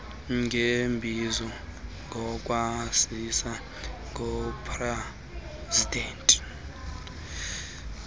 ngeembizo ngokwaziswa ngupresidanti